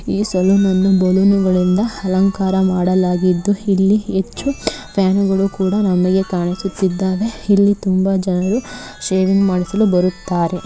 ಈ ಸಲೂನ್ ಅನ್ನು ಅಲಂಕಾರ ಮಾಡಲಾಗಿದ್ದು ಇಲ್ಲಿ ಹೆಚ್ಚು ಫ್ಯಾನ್ ಗಳು ಕೂಡ ನಮಗೆ ಕಾಣಿಸುತ್ತಿದ್ದಾವೆ. ಇಲ್ಲಿ ತುಂಬಾ ಜನರು ಸೇವೆ ಮಾಡಿಸಲು ಬರುತ್ತಾರೆ.